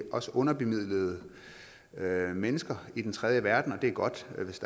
underbemidlede mennesker i den tredje verden og det er godt hvis